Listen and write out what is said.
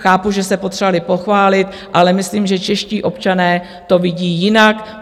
Chápu, že se potřebovali pochválit, ale myslím, že čeští občané to vidí jinak.